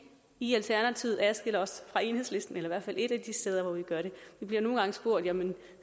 i alternativet adskiller os fra enhedslisten i hvert fald et af de steder hvor vi gør det vi bliver nogle gange spurgt jamen